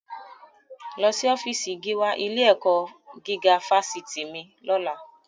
Lọ sí ọfíísì gíwá ilé-ẹ̀kọ́ gígá fásitì mi lọ́la!